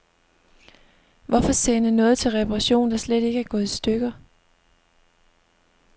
Hvorfor sende noget til reparation, der slet ikke er gået i stykker.